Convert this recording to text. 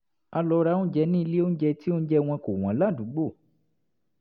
a lọ ra oúnjẹ ní ilé-oúnjẹ tí oúnjẹ wọn kò wọ́n ládùúgbò